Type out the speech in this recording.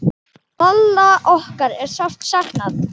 Lalla okkar er sárt saknað.